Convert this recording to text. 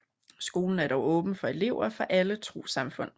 Skolen er dog åben for elever fra alle trossamfund